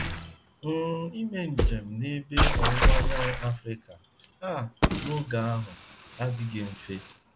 um Ime njem n’Ebe Ọwụwa Anyanwụ Africa um n’oge ahụ adịghị mfe um.